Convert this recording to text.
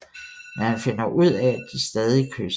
Men han finder ud af at de stadig kysser